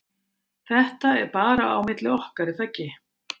ÞETTA er bara á milli okkar er þaggi?